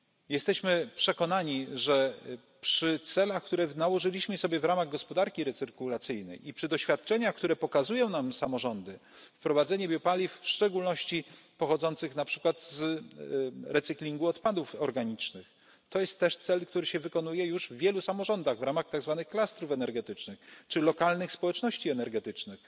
Jesteśmy przekonani, że przy celach, które nałożyliśmy sobie w ramach gospodarki recyrkulacyjnej i przy doświadczeniach, które pokazują nam samorządy, wprowadzenie biopaliw, w szczególności pochodzących na przykład z recyklingu odpadów organicznych, to jest też cel, który się realizuje już w wielu samorządach, w ramach tak zwanych klastrów energetycznych czy lokalnych społeczności energetycznych.